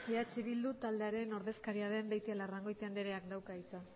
eh bildu taldearen ordezkaria den beitialarrangoitia andreak dauka hitza